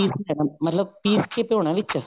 ਮਤਲਬ ਪੀਸ ਕੇ ਧੋਣਾ ਵਿੱਚ